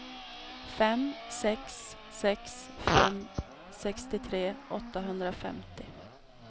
fem sex sex fem sextiotre åttahundrafemtio